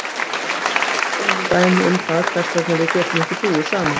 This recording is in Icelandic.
Þessi ræða er talandi dæmi um það hvers vegna við getum ekki búið saman.